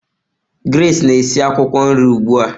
Grace na-esi akwukwo nri ugbu a